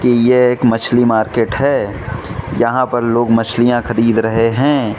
यह एक मछली मार्केट है यहां पर लोग मछलियां खरीद रहे हैं।